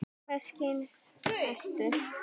Hvers kyns ertu?